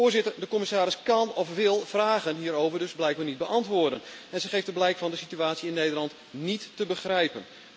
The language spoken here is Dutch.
Voorzitter, de commissaris kan of wil vragen hierover dus blijkbaar niet beantwoorden en ze geeft er blijk van de situatie in Nederland niet te begrijpen.